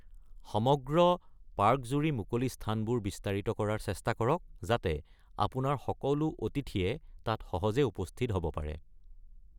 সমগ্ৰ পাৰ্কজুৰি মুকলি স্থানবোৰ বিস্তাৰিত কৰাৰ চেষ্টা কৰক, যাতে আপোনাৰ সকলো অতিথিয়ে তাত সহজে উপস্থিত হ’ব পাৰে।